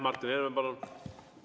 Martin Helme, palun!